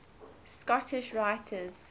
scottish writers